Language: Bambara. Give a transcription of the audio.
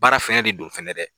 Baara fɛnɛ de don fɛnɛ dɛ.